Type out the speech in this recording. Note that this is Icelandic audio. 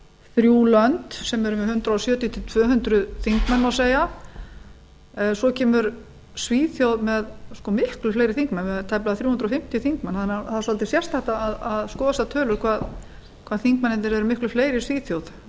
þrjú lönd sem eru með hundrað sjötíu til tvö hundruð þingmenn má segja en svo kemur svíþjóð með miklu fleiri þingmenn það eru tæplega þrjú hundruð fimmtíu þingmenn þannig að það er svolítið sérstakt að skoða þessar tölur hvað þingmennirnir eru miklu fleiri í svíþjóð